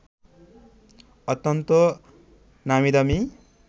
অত্যন্ত নামীদামি